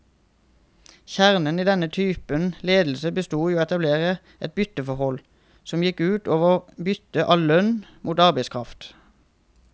Kjernen i denne typen ledelse bestod i å etablere et bytteforhold, som gikk ut over byttet av lønn mot arbeidskraft.